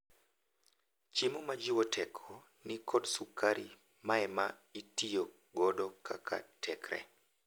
Chiemo majiwo teko nikod sukari maema itiyo godo kaka tekre.